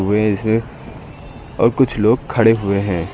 व इसमें और कुछ लोग खड़े हुए हैं।